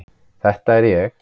Þetta er ég.